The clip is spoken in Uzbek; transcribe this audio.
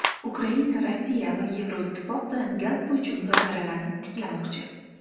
Ukraina Rossiya va Yevroittifoq bilan gaz bo‘yicha muzokaralarni tiklamoqchi.